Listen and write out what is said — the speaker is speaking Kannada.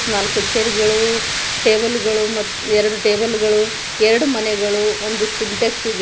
ನಾಲ್ಕು ಚೇರ್ ಗಳು ಟೇಬಲ್ ಗಳು ಮತ್ ಎರಡು ಟೇಬಲ್ ಗಳು ಎರಡು ಮನೆಗಳು ಒಂದು ಸಿಂಟೆಕ್ಸ್ ಇದೆ.